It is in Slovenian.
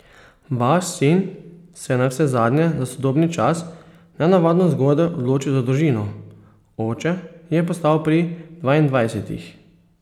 Vaš sin se je navsezadnje za sodobni čas nenavadno zgodaj odločil za družino, oče je postal pri dvaindvajsetih.